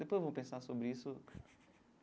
Depois eu vou pensar sobre isso.